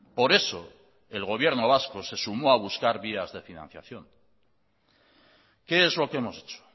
por eso el gobierno vasco se sumó a buscar vías de financiación qué es lo que hemos hecho